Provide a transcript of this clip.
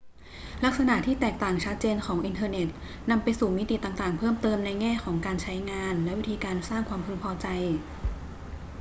ลักษณะที่แตกต่างชัดเจนของอินเทอร์เน็ตนำไปสู่มิติต่าง ๆ เพิ่มเติมในแง่ของการใช้งานและวิธีการสร้างความพึงพอใจ